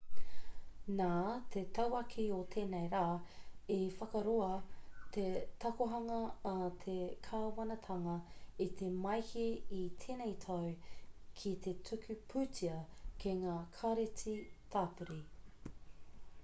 nā te tauākī o tēnei rā i whakaroa te takohanga a te kāwanatanga i te māehe i tēnei tau ki te tuku pūtea ki ngā kāreti tāpiri